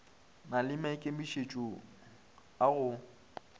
na le maikemišetšo a go